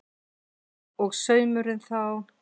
Og saumurinn þá?